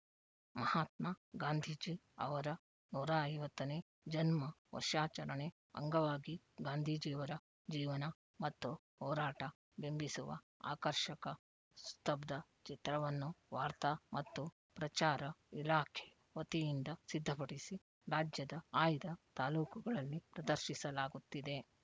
ಮಹಾತ್ಮಾ ಗಾಂಧೀಜಿ ಅವರ ನೂರ ಐವತ್ತ ನೇ ಜನ್ಮ ವರ್ಷಾಚರಣೆ ಅಂಗವಾಗಿ ಗಾಂಧೀಜಿಯವರ ಜೀವನ ಮತ್ತು ಹೋರಾಟ ಬಿಂಬಿಸುವ ಆಕರ್ಷಕ ಸ್ತಬ್ಧಚಿತ್ರವನ್ನು ವಾರ್ತಾ ಮತ್ತು ಪ್ರಚಾರ ಇಲಾಖೆ ವತಿಯಿಂದ ಸಿದ್ಧಪಡಿಸಿ ರಾಜ್ಯದ ಆಯ್ದ ತಾಲೂಕುಗಳಲ್ಲಿ ಪ್ರದರ್ಶಿಸಲಾಗುತ್ತಿದೆ